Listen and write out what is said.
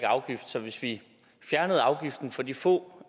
afgift så hvis vi fjernede afgiften for de få